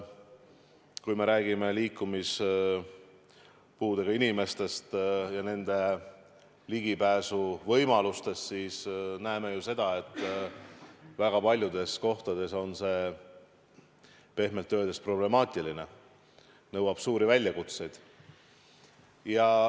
Kui me räägime liikumispuudega inimestest ja nende ligipääsuvõimalustest, siis näeme ju seda, et väga paljudes kohtades on see pehmelt öeldes problemaatiline, tekitab suuri väljakutseid.